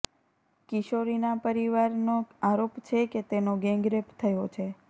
કિશોરીનાં પરિવારનો આરોપ છે કે તેનો ગેંગરેપ થયો છે